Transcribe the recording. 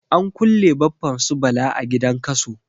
An kulle Baffan su Bala a gidan Kaso.